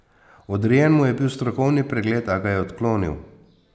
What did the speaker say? Odrejen mu je bil strokovni pregled, a ga je odklonil.